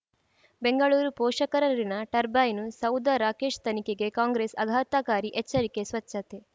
ಬೆಂಗಳೂರು ಪೋಷಕರಋಣ ಟರ್ಬೈನು ಸೌಧ ರಾಕೇಶ್ ತನಿಖೆಗೆ ಕಾಂಗ್ರೆಸ್ ಆಘಾತಕಾರಿ ಎಚ್ಚರಿಕೆ ಸ್ವಚ್ಛತೆ